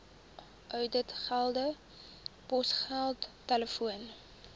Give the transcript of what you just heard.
ouditgelde posgeld telefoon